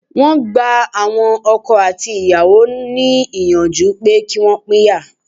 Wọ́n gba àwọn ọkọ àti ìyàwó ní ìyànjú pé kí Wọ́n pínyà.